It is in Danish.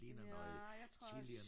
Nej jeg tror